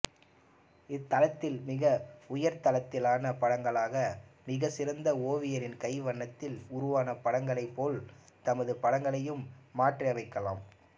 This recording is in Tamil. இத்தளத்தில் மிக உயர்தரத்திலான படங்களாக மிகசிறந்த ஓவியரின் கைவண்ணத்தில் உருவான படங்களை போல் தமது படங்களை மாற்றியமைக்கலாம்